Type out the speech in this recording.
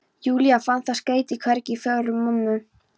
Júlía, fann það skeyti hvergi í fórum mömmu.